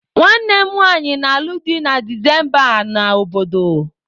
Nwanne m nwanyị na-alụ di na Disemba a na obodo.